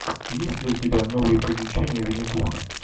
есть ли у тебя новые приключения винни пуха